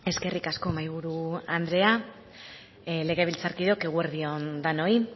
eskerrik asko mahaiburu andrea legebiltzarkideok eguerdi on denoi